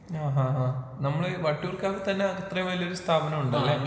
ആഹാഹാ നമ്മളെ വട്ടിയൂർക്കാവ് തന്നെ ഇത്രേം വലിയൊരു സ്ഥാപനമുണ്ടല്ലേ?